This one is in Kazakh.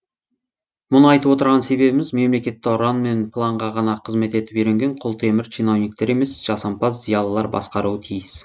мұны айтып отырған себебіміз мемлекетті ұран мен планға ғана қызмет етіп үйренген құлтемір чиновниктер емес жасампаз зиялылар басқаруы тиіс